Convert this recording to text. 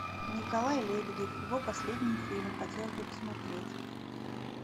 николай лебедев его последний фильм хотелось бы посмотреть